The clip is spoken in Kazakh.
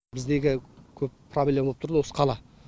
біз неге көп проблема болып тұрды осы қала